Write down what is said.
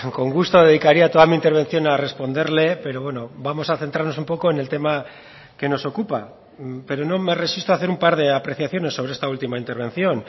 con gusto dedicaría toda mi intervención a responderle pero bueno vamos a centrarnos un poco en el tema que nos ocupa pero no me resisto a hacer un par de apreciaciones sobre esta última intervención